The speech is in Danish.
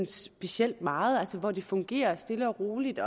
specielt meget altså hvor det fungerer stille og roligt